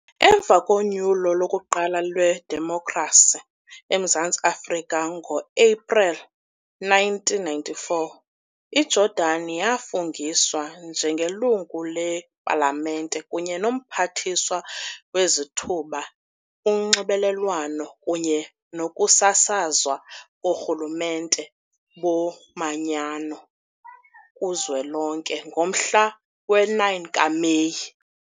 Emva konyulo lokuqala lwedemokhrasi eMzantsi Afrika ngo-Epreli 1994, iJordani yafungiswa njengeLungu lePalamente kunye noMphathiswa weZithuba, uNxibelelwano kunye nokusasazwa koRhulumente boManyano kuZwelonke ngomhla we-9 kaMeyi.